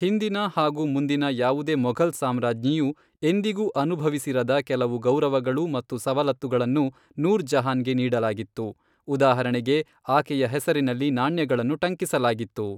ಹಿಂದಿನ ಹಾಗೂ ಮುಂದಿನ ಯಾವುದೇ ಮೊಘಲ್ ಸಾಮ್ರಾಜ್ಞಿಯೂ ಎಂದಿಗೂ ಅನುಭವಿಸಿರದ ಕೆಲವು ಗೌರವಗಳು ಮತ್ತು ಸವಲತ್ತುಗಳನ್ನು ನೂರ್ ಜಹಾನ್ಗೆ ನೀಡಲಾಗಿತ್ತು, ಉದಾಹರಣೆಗೆ, ಆಕೆಯ ಹೆಸರಿನಲ್ಲಿ ನಾಣ್ಯಗಳನ್ನು ಟಂಕಿಸಲಾಗಿತ್ತು.